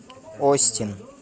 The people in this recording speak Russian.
остин